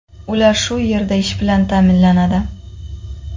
Ular shu yerda ish bilan ta’minlanadi.